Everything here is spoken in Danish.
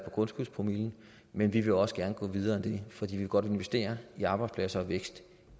og grundskyldspromillen men vi vil også gerne gå videre end det for vi vil godt investere i arbejdspladser og vækst